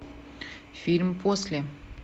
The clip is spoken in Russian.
фильм после